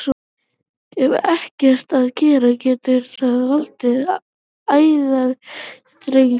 Ef ekkert er að gert getur það valdið æðaþrengslum.